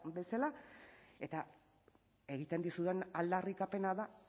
bezala eta egiten dizudan aldarrikapena da